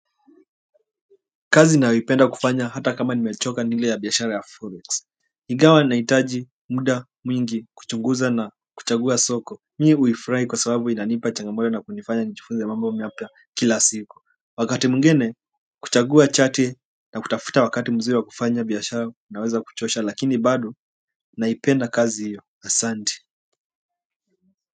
Kazi ninayopenda kufanya hata kama nimechoka ni ile ya biashara ya Forex ingawa nahitaji muda mwingi kuchunguza na kuchagua soko, mimi hufurahia kwa sababu inanipa changamoto na kunifanya nijifunze mambo mapya kila siku. Wakati mwingine kuchagua chati na kutafuta wakati mzuri wa kufanya biashara kunaweza kuchosha. Lakini bado naipenda kazi hiyo, asante.